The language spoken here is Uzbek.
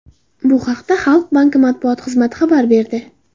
Bu haqda Xalq banki matbuot xizmati xabar berdi .